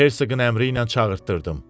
Amma Hersoqun əmri ilə çağırtdırdım.